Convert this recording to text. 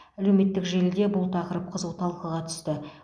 әлеуметтік желіде бұл тақырып қызу талқыға түсті